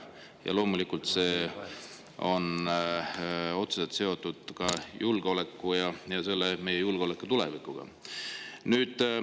Ja loomulikult see on otseselt seotud ka meie julgeoleku tulevikuga.